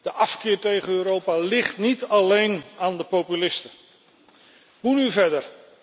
De afkeer tegen Europa ligt niet alleen aan de populisten. Hoe nu verder?